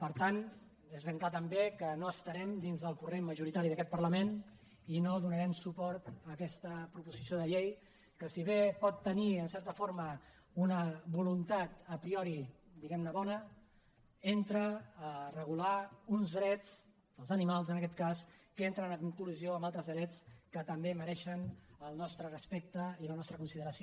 per tant és ben clar també que no estarem dins del corrent majoritari d’aquest parlament i no donarem suport a aquesta proposició de llei que si bé pot tenir en certa forma una voluntat a prioria regular uns drets dels animals en aquest cas que entren en col·lisió amb altres drets que també mereixen el nostre respecte i la nostra consideració